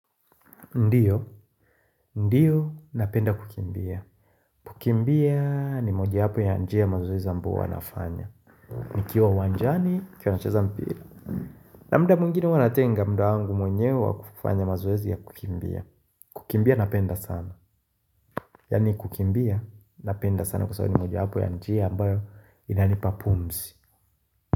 Ndio, ndio, napenda kukimbia. Kukimbia ni mojawapo ya njia mazoezi ambayo huwa nafanya. Nikiwa uwanjani, nikiwa nacheza mpira. Na mda mwigine huwa natenga mda wangu mwenyewe wa kufanya mazoezi ya kukimbia. Kukimbia napenda sana. Yaani kukimbia napenda sana kwa sababu ni moja wapo ya njia ambayo inanipa pumzi.